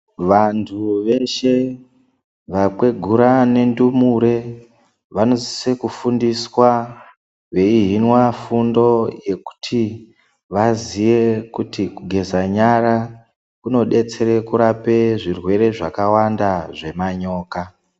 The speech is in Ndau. Vantu veshe vakwegura nendumure vanosisa kufundiswa veihinwa fundo yekuti vaziye kuti kugeza nyara kunodetsere kurape zvirwere zvakawanda zvemanyoka.